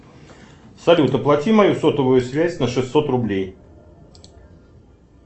салют оплати мою сотовую связь на шестьсот рублей